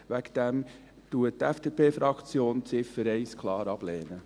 Deshalb lehnt die FDP-Fraktion die Ziffer 1 klar ab.